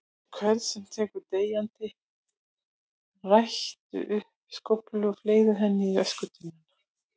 hvern sem tekur deyjandi rottu upp með skóflu og fleygir henni í öskutunnuna.